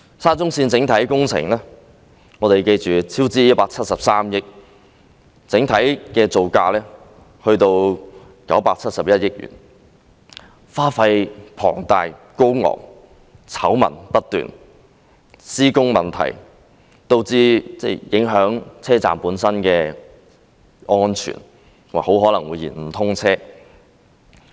沙中線的整體工程超支173億元，整體造價高達971億元，花費龐大，醜聞不斷，施工問題導致影響車站的安全，並很可能會延誤通車。